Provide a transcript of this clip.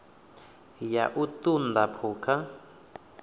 ya u ṱun ḓa phukha